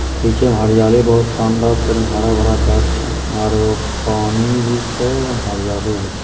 पीछे हरियाली बहुत शानदार हरा-भरा गाछ और पानी भी छे एकदम हरियाली भी छे।